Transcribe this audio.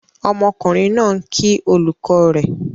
Ọmọkùnrin náà ń kí olùkọ́ rẹ̀.